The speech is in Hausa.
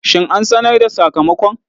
Shin an sanar da sakamakon?